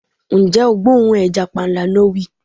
Ǹjẹ́ o gbóòórùn ẹja panla. No wii